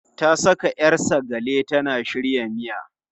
Ta saka 'yar sagale tana shirya miya.